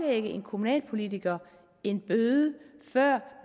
en kommunalpolitiker en bøde før